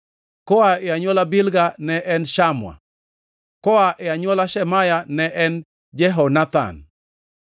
koa e anywola Bilga ne en Shamua; koa e anywola Shemaya ne en Jehonathan;